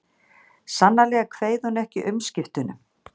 Sannarlega kveið hún ekki umskiptunum.